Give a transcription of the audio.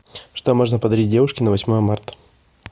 что можно подарить девушке на восьмое марта